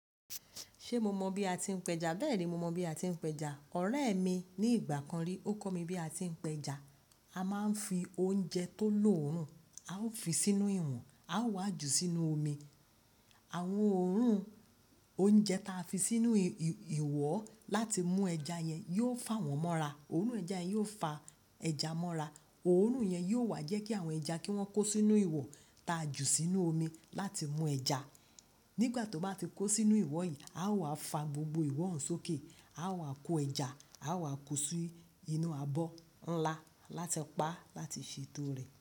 Ṣé mo mọ bí a ti ń pẹja? Bẹ́ẹ̀ni, mo mọ bí a ti ń pẹja. Ọ̀rẹ́ mi ní ìgbà kan rí, ó kọ́ mi bí a ti ń pẹja. A máa ń fi oúnjẹ tó lọ́òrùn, a ó fi sínú ìwọ̀n, a ó wá jù sínu omi. Àwọn òórùn oúnjẹ ta fi sínú ìwọ̀ láti mú ẹja yẹn yóò fà wọ́n mọ́ra. Òórùn ẹja yẹn yóò fa ẹja mọ́ra. Òórùn yẹn yóò wá jẹ́ kí àwọn ẹja kí wọ́n kó sínú ìwọ ta jù sínú omi láti mú ẹja. Nígbà tó bá ti kó sínú ìwọ̀ yìí, a ó wá fa gbogbo ìwọ̀ hàn sókè. A ó wá kó ẹja, a ó wá kó sí inú abọ́ ńlá láti pa á láti ṣe ètò rẹ̀.